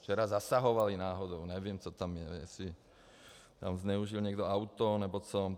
Včera zasahovali náhodou, nevím, co tam je, jestli tam zneužil někdo auto nebo co.Tak